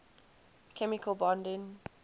chemical bonding